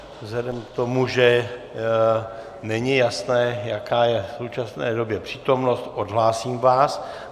Vzhledem k tomu, že není jasné, jaká je v současné době přítomnost, odhlásím vás.